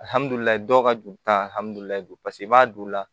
Alihamdullilaye dɔw ka joli tali paseke i b'a don